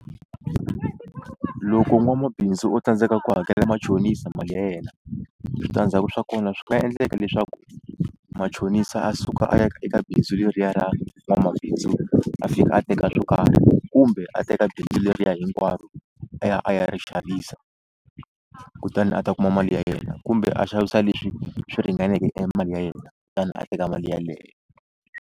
Loko n'wamabindzu o tsandzeka ku hakela machonisa mali ya yena switandzhaku swa kona swi nga endleka leswaku machonisa a suka a ya ka eka bindzu leriya ra n'wamabindzu a fika a teka swo karhi kumbe a teka bindzu leriya hinkwaro a ya a ya ri xavisa kutani a ta kuma mali ya yena kumbe a xavisa leswi swi ringaneke e mali ya yena kutani a teka mali yeleyo.